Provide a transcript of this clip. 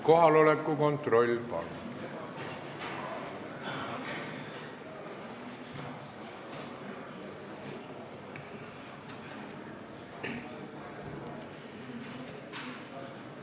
Kohaloleku kontroll, palun!